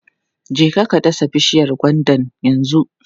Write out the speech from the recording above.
Je ka dasa bishiyar gwandan yanzu!